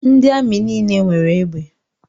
Ndị amị nile nwere egbe.